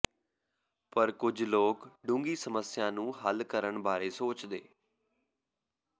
ਪਰ ਕੁਝ ਲੋਕ ਡੂੰਘੀ ਸਮੱਸਿਆ ਨੂੰ ਹੱਲ ਕਰਨ ਬਾਰੇ ਸੋਚਦੇ